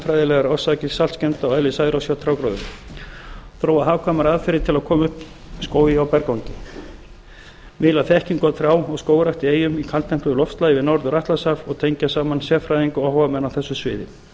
og lífefnafræðilegar orsakir saltskemmda og eðli særoksþols hjá trjágróðri fimmta þróa hagkvæmar aðferðir til að koma upp skógi á berangri sjötta miðla þekkingu á trjá og skógrækt á eyjum í kaldtempruðu loftslagi við norður atlantshaf og tengja saman sérfræðinga og áhugamenn á